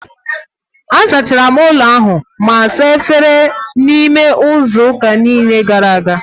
A zachara m ụlọ ahụ ma saa efere n'ime izu ụka gara aga niile